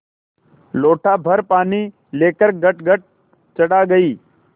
लोटाभर पानी लेकर गटगट चढ़ा गई